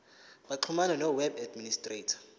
baxhumane noweb administrator